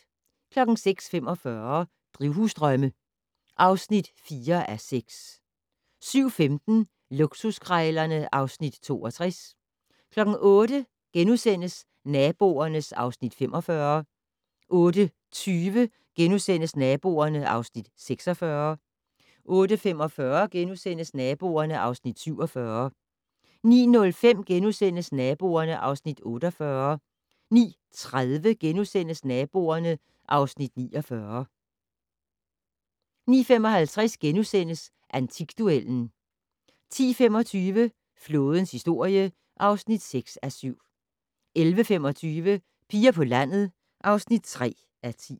06:45: Drivhusdrømme (4:6) 07:15: Luksuskrejlerne (Afs. 62) 08:00: Naboerne (Afs. 45)* 08:20: Naboerne (Afs. 46)* 08:45: Naboerne (Afs. 47)* 09:05: Naboerne (Afs. 48)* 09:30: Naboerne (Afs. 49)* 09:55: Antikduellen * 10:25: Flådens historie (6:7) 11:25: Piger på landet (3:10)